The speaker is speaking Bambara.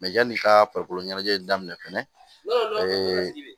yanni i ka farikolo ɲɛnajɛ daminɛ fɛnɛ ee